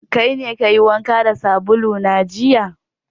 Kaine kayi wanka da sabulu na jiya?